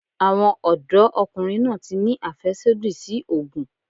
Àwọn ọ̀dọ́ ọkùnrin náà tí ni àfẹ́sódì sí ògùn.